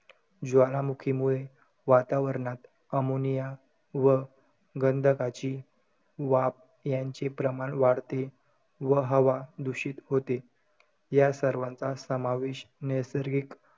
ज्वालामुखीमुळे वातावरणात ammonia व गंधकाची वाफ यांचे प्रमाण वाढते व हवा दूषित होते. या सर्वांचा समावेश नैसर्गिक,